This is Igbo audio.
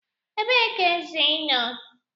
Ebee ka eze nọ?